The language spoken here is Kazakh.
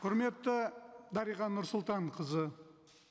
құрметті дариға нұрсұлтанқызы